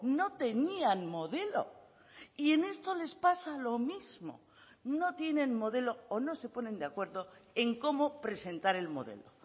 no tenían modelo y en esto les pasa lo mismo no tienen modelo o no se ponen de acuerdo en cómo presentar el modelo